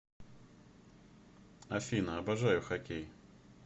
афина обожаю хокей